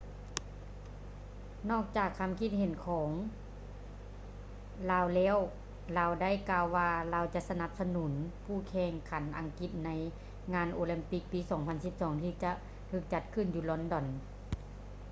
ນອກຈາກຄຳຄິດເຫັນຄຳເຫັນຂອງລາວແລ້ວ ລາວໄດ້ກ່າວວ່າລາວຈະສະໜັບສະໜຸນຜູ້ແຂ່ງຂັນອັງກິດໃນງານໂອລິມປິກປີ 2012 ທີ່ຈະຖືກຈັດຂຶ້ນຢູ່ລອນດອນ